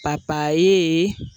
papayee